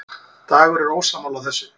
Dagur er ósammála þessu.